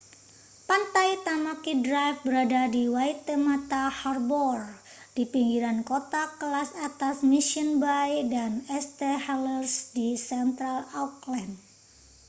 pantai tamaki drive berada di waitemata harbour di pinggiran kota kelas atas mission bay dan st heliers di central auckland